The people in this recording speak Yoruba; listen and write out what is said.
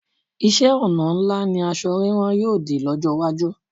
Iṣẹ́-ọnà ńlá ni asọ rírán yóò dì lọ́jọ́ iwájú.